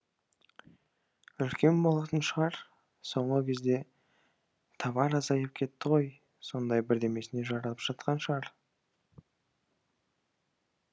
үлкен болатын шығар соңғы кезде тавар азайып кетті ғой сондай бірдемесіне жаратып жатқан шығар